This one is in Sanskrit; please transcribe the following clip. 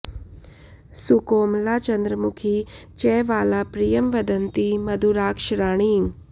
सुकोमला चन्द्रमुखी च वाला प्रियं वदन्ती मधुराक्ष राणि